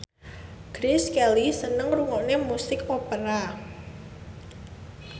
Grace Kelly seneng ngrungokne musik opera